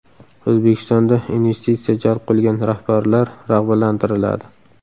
O‘zbekistonda investitsiya jalb qilgan rahbarlar rag‘batlantiriladi.